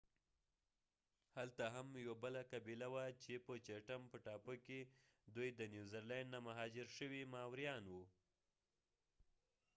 هلته هم یوه بله قبیله وه په چېټم په ټاپو کې دوي د نیوزیلاند نه مهاجر شوي ماوریان و